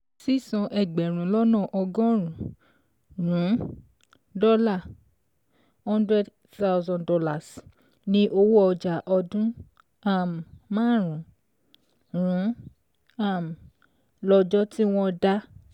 Sísan ẹgbẹ̀rún lọ́nà ọgọ́rùn-ún dọ́là ($ one hundred thousand ) ní owó ọjà ọdú um márùn-ún um lọ́jọ́ tí wọ́n dá.